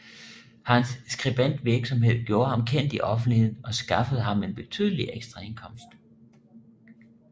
Hans skribentvirksomhed gjorde ham kendt i offentligheden og skaffede ham en betydelig ekstraindkomst